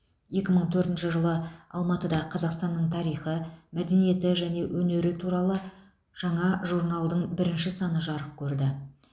екі мың төртінші жылы алматыда қазақстанның тарихы мәдениеті және өнері туралы жаңа журналдың бірінші саны жарық көрді